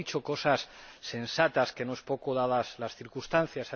Hoy ha dicho cosas sensatas, lo que no es poco dadas las circunstancias.